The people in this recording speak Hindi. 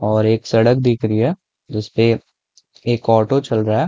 और एक सड़क दिख री है जिसपे एक ऑटो चल रहा है।